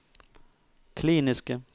kliniske